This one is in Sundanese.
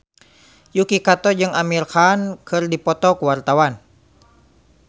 Yuki Kato jeung Amir Khan keur dipoto ku wartawan